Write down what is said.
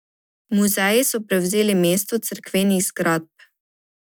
Muzeji so prevzeli mesto cerkvenih zgradb.